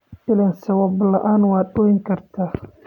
Ilen! Sawab laan waad ooyikarta.